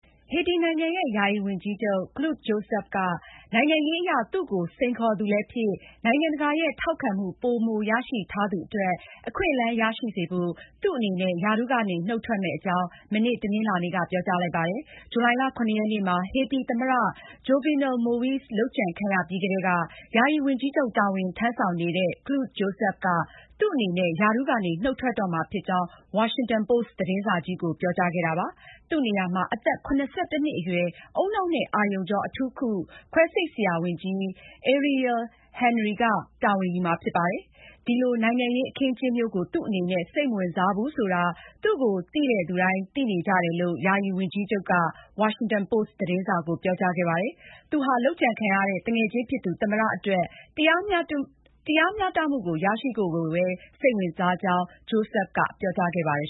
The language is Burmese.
ဟေတီနိုင်ငံရဲ့ ယာယီဝန်ကြီးချုပ် Claude Joseph က နိုင်ငံရေးအရ သူ့ကိုစိန်ခေါ်သူလည်းဖြစ် နိုင်ငံတကာရဲ့ ထောက်ခံမှုပိုမိုရရှိထားသူအတွက် အခွင့်အလမ်းရရှိစေဖို့ သူ့အနေနဲ့ ရာထူးကနေနုတ်ထွက်မယ့်အကြောင်း မနေ့ တနင်္လာနေ့က ပြောကြားလိုက်ပါတယ်။ ဇူလိုင်လ (၇)ရက်နေ့မှာ ဟေတီသမ္မတ Jovenel Moise လုပ်ကြံခံရပြီးကတည်းက ယာယီဝန်ကြီးချုပ် တာဝန်ထမ်းဆောင်နေတဲ့ Claude Joseph က သူ့အနေနဲ့ ရာထူးကနေ နုတ်ထွက်တော့မှာဖြစ်ကြောင်း Washington Post သတင်းစာကြီးကို ပြောကြားခဲ့တာပါ။ သူ့နေရာမှာ အသက် (၇၁)နှစ်အရွယ် ဦးနှောက်နဲ့ အာရုံကြောအထူးကု ခွဲစိတ်ဆရာဝန်ကြီး Ariel Henry က တာဝန်ယူမှာဖြစ်ပါတယ်။ ဒီလိုနိုင်ငံရေး အခင်းအကျင်းမျိုးကို သူ့အနေနဲ့ စိတ်မဝင်စားဘူးဆိုတာ သူ့ကိုသိတဲ့သူတိုင်း သိကြတယ်လို့ ယာယီဝန်ကြီးချုပ် Joseph က Washington Post သတင်းစာကို ပြောကြားခဲ့ပါတယ်။ သူဟာ လုပ်ကြံခံရတဲ့ သူငယ်ချင်းဖြစ်သူ သမ္မတအတွက် တရားမျှတမှုရရှိဖို့ကိုပဲ စိတ်ဝင်စားကြောင်း Joseph ကပြောခဲ့ပါတယ်